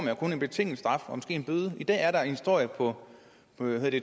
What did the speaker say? jo kun en betinget straf og måske en bøde i dag er der en historie på